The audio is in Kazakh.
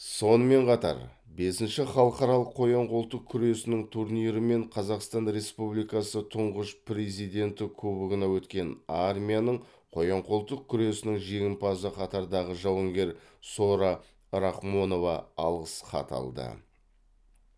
сонымен қатар бесінші халықаралық қоян қолтық күресінің турнирі мен қазақстан республикасы тұңғыш президенті кубогына өткен армияның қоян қолтық күресінің жеңімпазы қатардағы жауынгер сора рахмонова алғыс хат алды